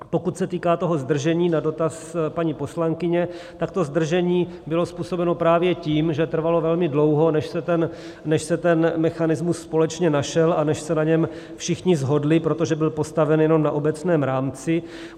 Pokud se týká toho zdržení, na dotaz paní poslankyně, tak to zdržení bylo způsobeno právě tím, že trvalo velmi dlouho, než se ten mechanismus společně našel a než se na něm všichni shodli, protože byl postaven jenom na obecném rámci.